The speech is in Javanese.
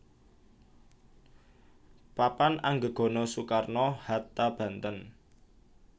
Papan Anggegana Soekarno Hatta Banten